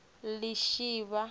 lishivha